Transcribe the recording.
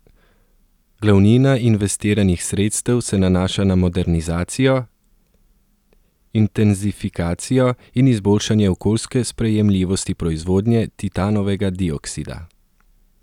Glavnina investiranih sredstev se nanaša na modernizacijo, intenzifikacijo in izboljšanje okoljske sprejemljivosti proizvodnje titanovega dioksida.